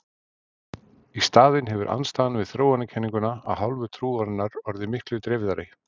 Í staðinn hefur andstaðan við þróunarkenninguna af hálfu trúarinnar orðið miklu dreifðari.